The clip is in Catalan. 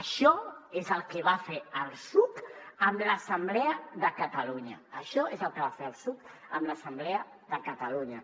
això és el que va fer el psuc amb l’assemblea de catalunya això és el que va fer el psuc amb l’assemblea de catalunya